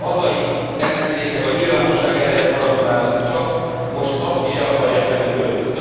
A hazai ellenzéknek a nyilvánosság ereje maradt már csak, most azt is el akarják venni tőlünk.